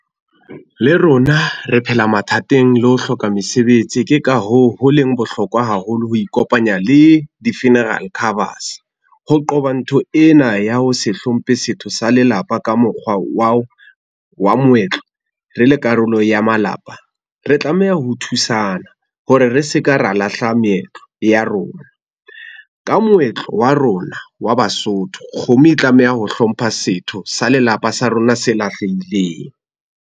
Le rona re phela mathateng le ho hloka mesebetsi. Ke ka hoo ho leng bohlokwa haholo ho ikopanya le di-funeral covers. Ho qoba ntho ena ya ho se hlomphe setho sa lelapa ka mokgwa wa moetlo re le karolo ya malapa. Re tlameha ho thusana hore re se ka ra lahla meetlo ya rona. Ka moetlo wa rona wa Basotho kgomo e tlameha ho hlompha setho sa lelapa sa rona se lahlehileng.